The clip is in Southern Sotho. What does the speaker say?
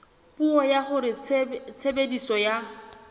puo ya hore tshebediso ya